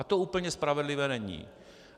A to úplně spravedlivé není.